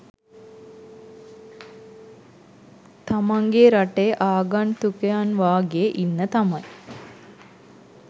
තමන්ගේ රටේ ආගන්තුකයන්වාගේ ඉන්න තමයි.